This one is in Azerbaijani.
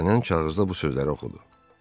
Dartanyan kağızda bu sözləri oxudu.